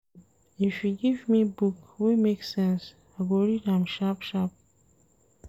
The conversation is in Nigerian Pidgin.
If you give me book wey make sense, I go read am sharp-sharp.